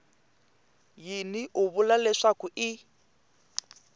yini u vula leswaku i